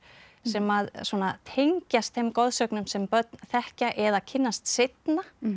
sem að tengjast þeim goðsögnum sem börn þekkja eða kynnast seinna